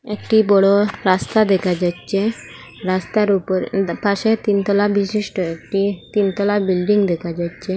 একটি বড় রাস্তা দেখা যাচ্চে রাস্তার উপর দ পাশে তিন তলা বিশিষ্ট একটি তিনতলা বিল্ডিং দেখা যাচ্চে।